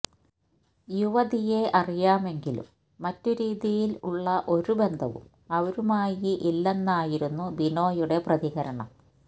യുവതിയെ അറിയാമെങ്കിലും മറ്റ് രീതിയില് ഉള്ള ഒരു ബന്ധവും അവരുമായി ഇല്ലെന്നായിരുന്നു ബിനോയുടെ പ്രതികരണം